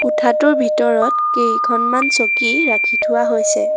কোঠাটোৰ ভিতৰত কেইখনমান চকী ৰাখি থোৱা হৈছে।